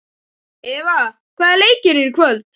Eva, hvaða leikir eru í kvöld?